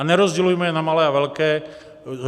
A nerozdělujme je na malé a velké.